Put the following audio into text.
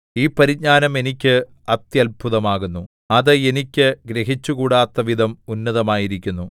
ഈ പരിജ്ഞാനം എനിക്ക് അത്യത്ഭുതമാകുന്നു അത് എനിക്ക് ഗ്രഹിച്ചുകൂടാത്തവിധം ഉന്നതമായിരിക്കുന്നു